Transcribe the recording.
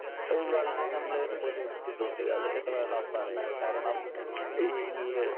Speaker 1 വളരെ നമ്മളെ ഉപകരിച്ചിട്ടുണ്ട് അത് എന്നുവേണം പറയാൻ. കാരണം ഈ ഈ